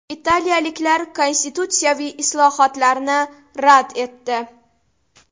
Italiyaliklar konstitutsiyaviy islohotni rad etdi.